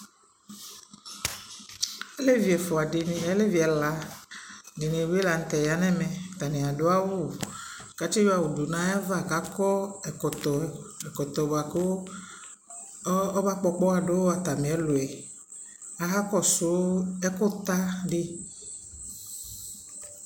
alɛvi ɛfʋa dini, alɛvi ɛla dinibi lantɛ yanʋ ɛmɛ , atani adʋ awʋ kʋ atsi yɔ awʋ dʋnʋ ayiava kʋ akɔ ɛkɔtɔ, ɛkɔtɔ bʋakʋ ɔba gbɔgbɔ ɔgbɔha dʋ atami ɛlʋɛ, akakɔsʋ ɛkʋ ta di